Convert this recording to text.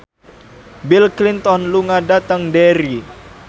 Bill Clinton lunga dhateng Derry